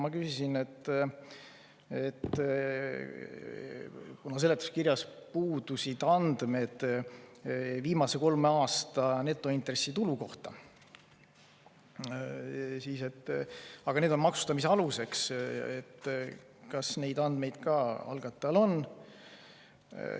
Ma küsisin, et kuna seletuskirjas puudusid andmed viimase kolme aasta netointressitulu kohta, aga need on maksustamise aluseks, siis kas algatajal neid andmeid on.